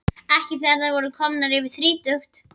Ekki þegar þær voru komnar yfir þrítugt.